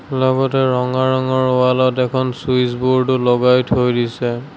লগতে ৰঙা ৰঙৰ ৱাল ত এখন চুইচ বোৰ্ড ও লগাই থৈ দিছে।